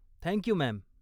Thank you, ma'am.